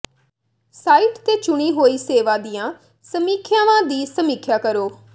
site ਤੇ ਚੁਣੀ ਹੋਈ ਸੇਵਾ ਦੀਆਂ ਸਮੀਖਿਆਵਾਂ ਦੀ ਸਮੀਖਿਆ ਕਰੋ